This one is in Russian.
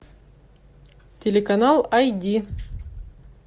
телеканал ай ди